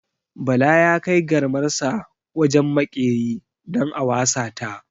Bala ya kai garmarsa wajen maƙeri don a wasa ta.